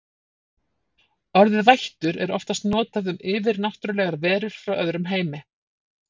Orðið vættur er oftast notað um yfirnáttúrlegar verur frá öðrum heimi.